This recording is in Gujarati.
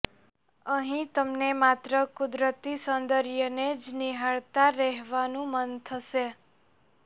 અહીં તમને માત્ર કુદરતી સૌંદર્યને જ નિહાળતા રેહવાનું મન થશે